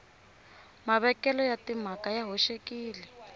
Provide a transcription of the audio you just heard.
mavekelo ya timhaka ya hoxekile